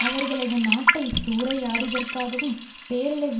அவர்களது நாட்டை சூறையாடியதற்காகவும் பேரழிவை